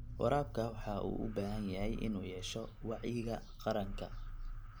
Waraabka waxa uu u baahan yahay in uu yeesho wacyiga qaranka.